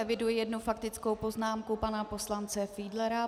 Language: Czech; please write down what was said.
Eviduji jednu faktickou poznámku pana poslance Fiedlera.